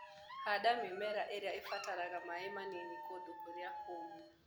Handa mĩmera ĩria ĩbataraga maĩ manini kũndũ kũrĩa kũmũ.